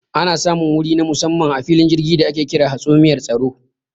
Ana samun wuri na musamman a filin jirgi da ake kira hatsumiyar tsaro.